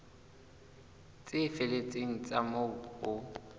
tse felletseng tsa moo ho